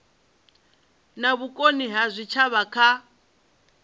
na vhukoni ha zwitshavha kha